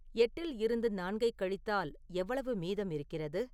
எட்டில் இருந்து நான்கைக் கழித்தால் எவ்வளவு மீதம் இருக்கிறது